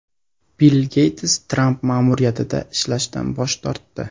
Bill Geyts Tramp ma’muriyatida ishlashdan bosh tortdi.